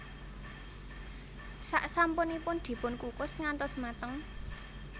Sak sampunipun dipunkukus ngantos mateng